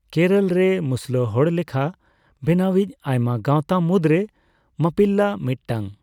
ᱠᱮᱨᱚᱞ ᱨᱮ ᱢᱩᱥᱞᱟᱹ ᱦᱚᱲᱞᱮᱠᱷᱟ ᱵᱮᱱᱟᱣ ᱤᱡ ᱟᱭᱢᱟ ᱜᱟᱣᱛᱟ ᱢᱩᱫᱽᱨᱮ ᱢᱟᱯᱯᱤᱞᱟᱼ ᱢᱤᱫᱴᱟᱝ᱾